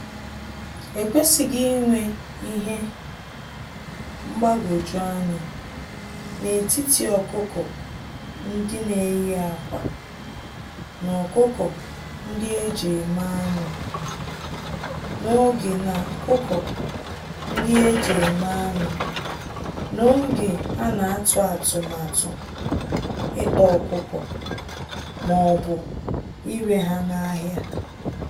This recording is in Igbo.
Ekwesighi inwe Ihe mgbagwoju anya n'etiti ọkụkọ-ndị-neyi-ákwà, na ọkụkọ-ndị-eji-eme-anụ, n'oge na ọkụkọ-ndị-eji-eme-anụ, n'oge anatụ atụmatụ ịkpa ọkụkọ m'obu ire ha n'ahịa.